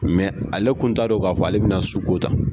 ale tun t'a don k'a fɔ ale bɛna su ko tan